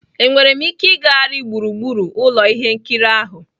Enwere m ike ịgagharị gburugburu ụlọ ihe nkiri ahụ?